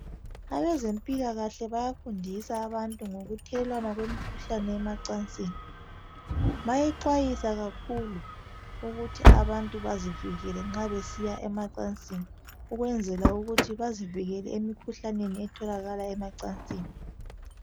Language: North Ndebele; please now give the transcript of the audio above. Abezempilakahle bayafundisa abantu ngokuthelelwana kwemikhuhlane yemacansini bayaxwayiswa kakhulu ukuthi abantu bazivikele nxa besiya emacansini ukwenzela ukuthi bazivikele emikhuhlaneni etholakala emacansini.